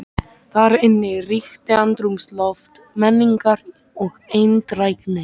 Þar inni ríkti andrúmsloft menningar og eindrægni.